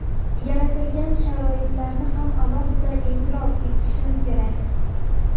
yaratilgan sharoitlarni ham alohida e’tirof etishim kerak.